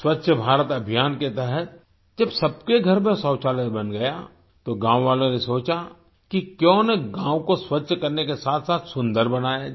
स्वच्छ भारत अभियान के तहत जब सबके घर में शौचालय बन गया तो गाँव वालों ने सोचा कि क्यों न गाँव को स्वच्छ करने के साथसाथ सुंदर बनाया जाए